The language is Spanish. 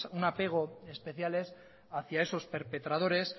un apego especial es hacia esos perpetradores